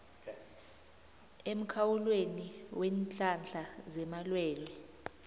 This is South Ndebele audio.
emkhawulweni weenhlahla zamalwelwe